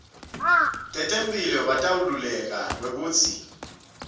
tetemphilo bataweluleka kwekutsi